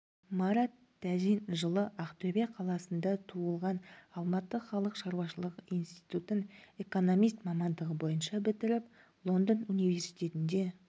марат тәжин жылы ақтөбе қаласында туылған алматы халық шаруашылығы институтын экономист мамандығы бойынша бітіріп лондон университетінде